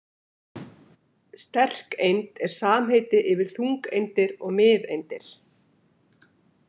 Sterkeind er samheiti yfir þungeindir og miðeindir.